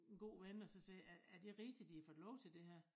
En god ven og så sige er er det rigtigt de har fået lov til det her